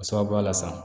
O sababuya la sa